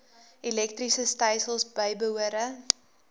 elektriese stelsels bybehore